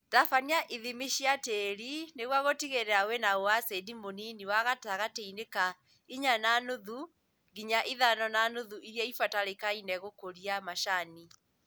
Tabania ithimi cia tĩri nĩguo gũtigĩrĩra wĩna ũacidi mũnini wa gatagatĩini ka inya na nuthunginya ithano na nuthu iria ibatarĩkaine gũkũria macani